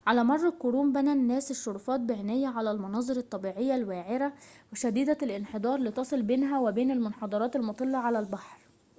على مر القرون بنى الناس الشرفات بعناية على المناظر الطبيعية الوعرة شديدة الانحدار لتصل بينها وبين المنحدرات المُطلّة على البحر